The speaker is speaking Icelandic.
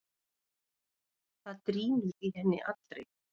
Það drynur í henni allri.